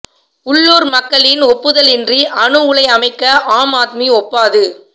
உள்ளூர் மக்களின் ஒப்புதலின்றி அணு உலை அமைக்க ஆம் ஆத்மி ஒப்பாது